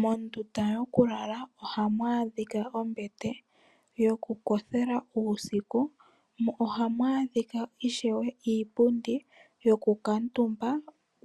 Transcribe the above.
Mondunda yoku lala ohamu adhika ombete yoku kothela uusiku, mo ohamu adhika ishewe iipundi yoku kuutumba